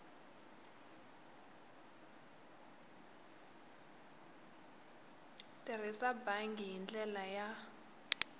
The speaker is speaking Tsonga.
tirhisa bangi hi ndlela ya